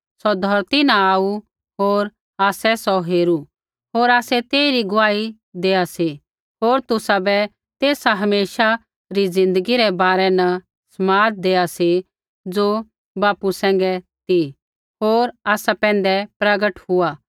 सौ धौरती न आऊ होर आसै सौ हेरू होर आसै तेइरी गुआही देआ सी होर तुसाबै तेसा हमेशा री ज़िन्दगी रै बारै न समाद देआ सी ज़ो बापू सैंघै ती होर आसा पैंधै प्रगट हुआ